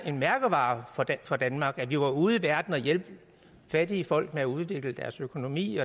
en mærkevare for danmark at vi var ude i verden og hjælpe fattige folk med at udvikle deres økonomi